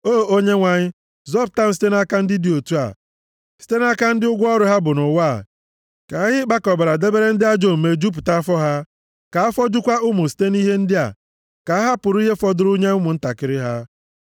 O Onyenwe anyị, zọpụta m site nʼaka ndị dị otu a, site nʼaka ndị ụgwọ ọrụ ha bụ nʼụwa a. Ka ihe ịkpakọbara debere ndị ajọ omume jupụta afọ ha, ka afọ jukwa ụmụ site nʼihe ndị a, ka ha hapụrụ ihe fọdụrụ nye ụmụntakịrị ha.